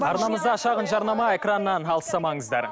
арнамызда шағын жарнама экраннан алыстамаңыздар